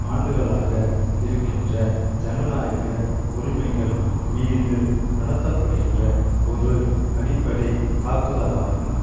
ஆண்டுகளாக இருக்கின்ற ஜனநாயக உரிமைகள் மீது நடத்த படுகின்ற ஒரு அடிப்படை தாக்குதலாகும்